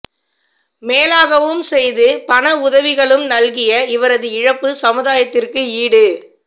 மேலாகவும் செய்து பண உதவிகளும் நல்கிய இவரது இழப்பு சமுதாயத்திற்கு ஈடு